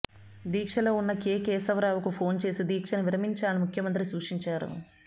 దీక్షలో ఉన్న కె కేశవరావుకు పోన్ చేసి దీక్షను విరమించాలని ముఖ్యమంత్రి సూచించారు